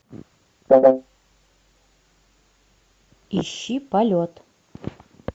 ищи полет